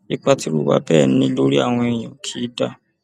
ipa tírú ìwà bẹẹ ń ní lórí àwọn èèyàn kì í dáa